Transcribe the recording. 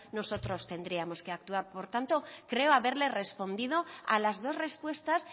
nosotros tendríamos que actuar por tanto creo haberle respondido a las dos respuestas